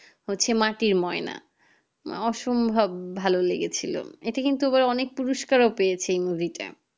হচ্ছে মাটির ময়না অসম্ভব ভালো লেগেছিলো এটি কিন্তুঅনেক পুরুস্কারও পেয়েছে এই movie টা